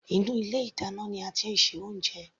Inú ilé ìdáná ní a tí ń ṣe oúnjẹ.